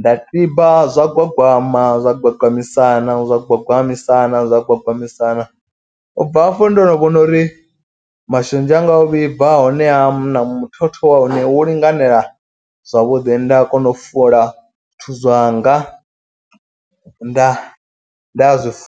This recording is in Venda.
Nda tiba zwa gwagwama zwa gwagwamisana zwa gwagwamisana zwa gwagwamisana. Ubva hafho ndo no vhona uri mashonzha anga o vhibva a hone a muthotho wa hone wo linganela zwavhuḓi. Nda a kona u fula zwithu zwanga nda nda zwi fu.